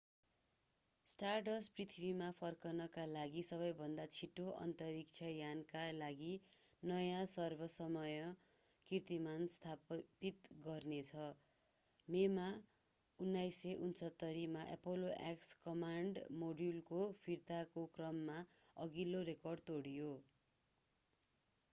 stardust पृथ्वीमा फर्कनका लागि सबैभन्दा छिटो अन्तरिक्ष यानका लागि नयाँ सर्व-समय कीर्तिमान स्थापित गर्नेछ मेमा 1969 मा apollo x कमान्ड मोड्युलको फिर्ताको क्रममा अघिल्लो रेकर्ड तोड्यो